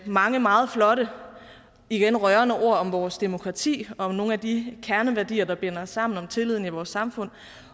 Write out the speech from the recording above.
mange meget flotte og igen rørende ord om vores demokrati og om nogle af de kerneværdier der binder os sammen og om tilliden i vores samfund